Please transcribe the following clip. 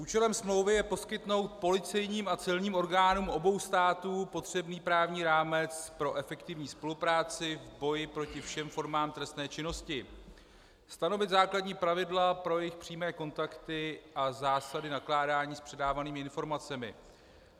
Účelem smlouvy je poskytnout policejním a celním orgánům obou států potřebný právní rámec pro efektivní spolupráci v boji proti všem formám trestné činnosti, stanovit základní pravidla pro jejich přímé kontakty a zásady nakládání s předávanými informacemi.